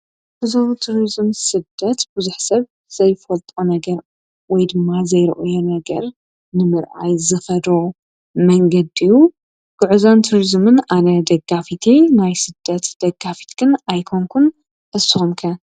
ብዞ ቱርዝም ሥደት ብዙኅሰብ ዘይፈልጦ ነገር ወይድማ ዘይርኦዮ ነገር ንምርኣይ ዝፈሮ መንገድዩ ጕዕዛን ቱርዝምን ኣነ ደጋፊት ማይ ሥደት ደጋፊትግን ኣይኮንኩን እስምከ?